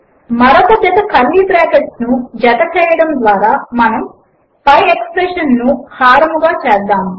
మరొక జత కర్లీ బ్రాకెట్లను జత చేయడము ద్వారా మనము పై ఎక్స్ప్రెషన్ ను హారముగా చేస్తాము